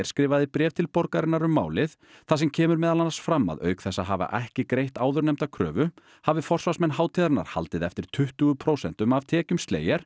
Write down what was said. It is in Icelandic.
skrifaði bréf til borgarinnar um málið þar sem kemur meðal annars fram að auk þess að hafa ekki greitt áðurnefnda kröfu hafi forsvarsmenn hátíðarinnar haldið eftir tuttugu prósentum af tekjum